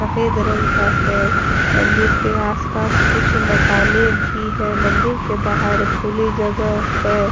सफ़ेद रंग का है मंदिर के आसपास कुछ मकानें भी हैं मंदिर के बाहर खुले जगह है।